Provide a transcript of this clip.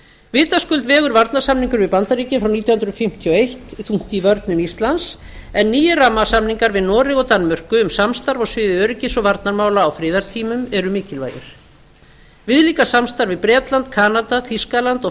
vitaskuld vegur varnarsamningurinn við bandaríkin frá nítján hundruð fimmtíu og eins þungt í vörnum íslands en nýir rammasamningar við noreg og danmörku um samstarf á sviði öryggis og varnarmála á friðartímum eru mikilvægir viðlíka samstarf við bretland kanada þýskaland og